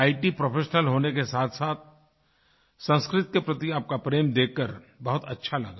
IT professional होने के साथसाथ संस्कृत के प्रति आपका प्रेम देखकर बहुत अच्छा लगा